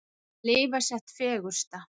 Að lifa sitt fegursta.